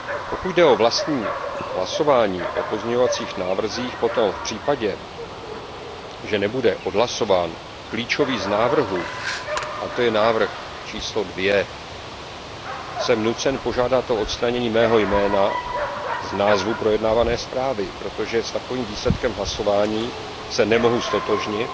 Pokud jde o vlastní hlasování o pozměňovacích návrzích, potom v případě, že nebude odhlasován klíčový z návrhů, to je pozměňovací návrh číslo 2, jsem nucen požádat o odstranění mého jména z názvu projednávané zprávy, protože s takovým výsledkem hlasování se nemohu ztotožnit,